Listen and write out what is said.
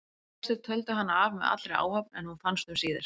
Flestir töldu hana af með allri áhöfn en hún fannst um síðir.